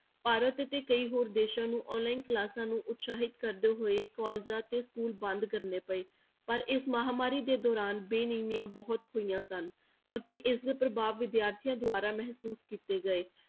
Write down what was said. ਭਾਰਤ ਅਤੇ ਕਈ ਹੋਰ ਦੇਸਾਂ ਨੂੰ online classes ਨੂੰ ਉਤਸਾਹਿਤ ਕਰਦੇ ਹੋਏ colleges ਅਤੇ school ਬੰਦ ਕਰਨੇ ਪਏ, ਪਰ ਇਸ ਮਹਾਂਮਾਰੀ ਦੇ ਦੌਰਾਨ ਬੇਨੀਮੀਆਂ ਬਹੁਤ ਹੋਈਆਂ ਸਨ ਅਤੇ ਇਸਦੇ ਪ੍ਰਭਾਵ ਵਿਦਿਆਰਥੀਆਂ ਦੁਆਰਾ ਮਹਿਸੂਸ ਕੀਤੇ ਗਏ।